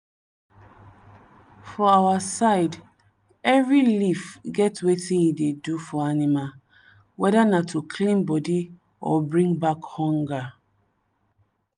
for our side every leaf get wetin e dey do for animal—whether na to clean body or bring back hunger.